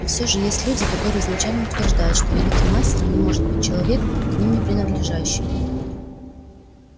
и всё же есть люди которые изначально утверждают что великим мастером не может быть человек к ним не принадлежащий